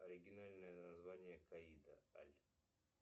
оригинальное название каида аль